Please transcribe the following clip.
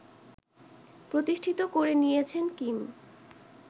প্রতিষ্ঠিত করে নিয়েছেন কিম